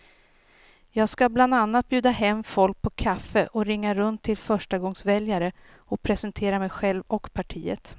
Jag ska bland annat bjuda hem folk på kaffe och ringa runt till förstagångsväljare och presentera mig själv och partiet.